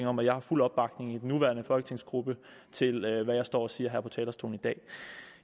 om at jeg har fuld opbakning i den nuværende folketingsgruppe til hvad jeg står og siger her på talerstolen i dag